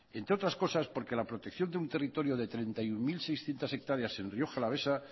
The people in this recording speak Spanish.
entre otras cosas porque la protección de un territorio de treinta y uno mil seiscientos hectáreas en rioja alavesa